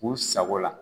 K'u sago la